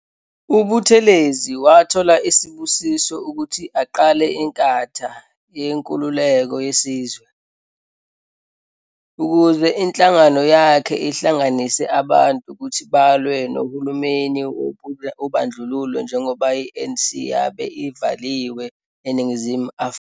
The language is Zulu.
UButhelezi wathola isibusiso ukuthi aqale iNkatha yeNkululeko yeSizwe, ukuze inhlangano yakhe ihlanganise abantu ukuthi balwe nohulumeni wobandlululo njengoba i-ANC yabe ivaliwe eNingizimu Afrika.